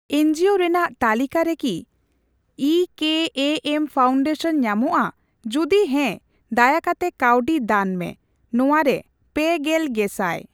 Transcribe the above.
NGO ᱨᱮᱱᱟᱜ ᱛᱟᱞᱤᱠᱟᱨᱮ K I K M foundation ᱧᱟᱢᱚᱜᱼᱟ, ᱡᱩᱫᱤ ᱦᱮᱸ ᱫᱟᱭᱟᱠᱟᱛᱮ ᱠᱟᱹᱣᱰᱤ ᱫᱟᱱ ᱢᱮ ᱾ ᱱᱚᱣᱟᱨᱮ ᱯᱮᱜᱮᱞ ᱜᱮᱥᱟᱭ।